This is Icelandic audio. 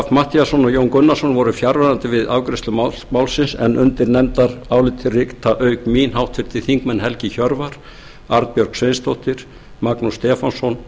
matthíasson og jón gunnarsson voru fjarverandi við afgreiðslu málsins en undir nefndarálitið rita auk mín háttvirtir þingmenn helgi hjörvar arnbjörg sveinsdóttir magnús stefánsson